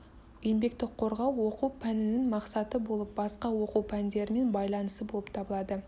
еңбекті қорғау оқу пәнінің мақсаты болып басқа оқу пәндерімен байланысы болып табылады